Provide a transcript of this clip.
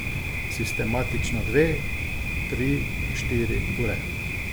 Sistematično dve, tri, štiri ure.